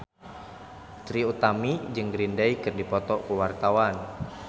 Trie Utami jeung Green Day keur dipoto ku wartawan